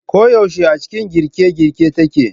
Ko yaushe a cikin girke girke take.